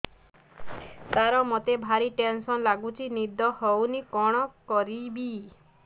ସାର ମତେ ଭାରି ଟେନ୍ସନ୍ ଲାଗୁଚି ନିଦ ହଉନି କଣ କରିବି